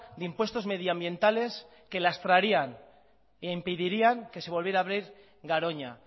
de impuestos medioambientales que lastrarían e impedirían que se volviera a abrir garoña